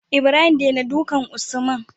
Ibrahim dena dukan usman